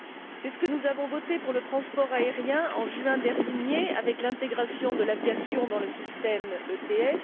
C'est ce que nous avons voté pour le transport aérien, en juin dernier, avec l'intégration de l'aviation dans le système ETS.